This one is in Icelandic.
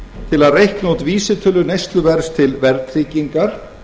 til að reikna út vísitölu neysluverðs til verðtryggingar